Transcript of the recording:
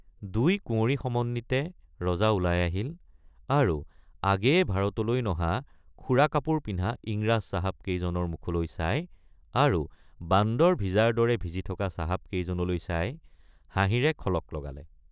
দুই কুঁৱৰী সমন্বিতে ৰজা ওলাই আহিল আৰু আগেয়ে ভাৰতলৈ নহা খোৰা কাপোৰ পিন্ধা ইংৰাজ চাহাবকেজনৰ মুখলৈ চাই আৰু বান্দৰ ভিজাৰ দৰে ভিজি থকা চাহাবকেজনলৈ চাই হাঁহিৰে খলক লগালে।